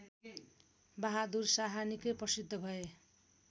बाहदुर शाह निकै प्रसिद्ध भए